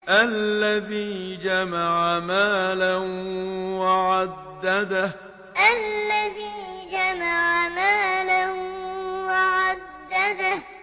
الَّذِي جَمَعَ مَالًا وَعَدَّدَهُ الَّذِي جَمَعَ مَالًا وَعَدَّدَهُ